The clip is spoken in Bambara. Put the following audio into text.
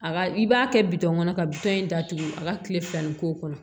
A ka i b'a kɛ bitɔn kɔnɔ ka in datugu a ka kile fila in k'o kɔnɔ